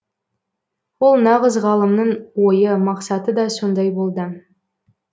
ол нағыз ғалымның ойы мақсаты да сондай болды